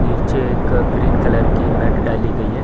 नीचे एक green colour की मैट डाली गई है।